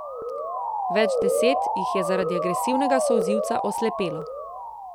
Več deset jih je zaradi agresivnega solzivca oslepelo.